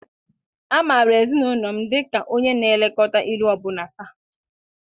A maara ezinụlọ m dị ka onye na-elekọta ilu ọbụna taa.